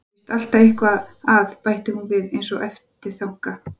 Það er víst alltaf eitthvað að, bætti hún við einsog eftirþanka.